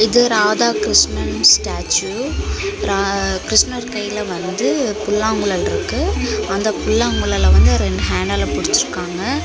இது ராதா கிருஷ்ணன் ஸ்டாச்சு ரா கிருஷ்ணர் கையில வந்துட்டு புல்லாங்குழல் இருக்கு அந்த புல்லாங்குழல வந்து ரெண்டு ஹேண்டால புடிச்சிருக்காங்க.